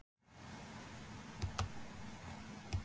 Sem einhver var að fá Nóbelsverðlaunin fyrir um daginn.